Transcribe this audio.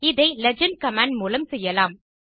இதை legend command மூலம் செய்யலாம்